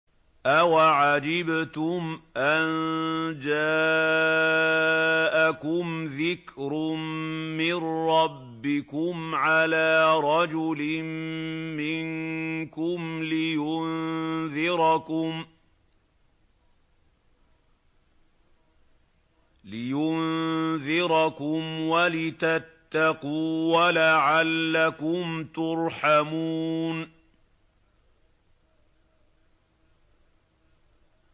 أَوَعَجِبْتُمْ أَن جَاءَكُمْ ذِكْرٌ مِّن رَّبِّكُمْ عَلَىٰ رَجُلٍ مِّنكُمْ لِيُنذِرَكُمْ وَلِتَتَّقُوا وَلَعَلَّكُمْ تُرْحَمُونَ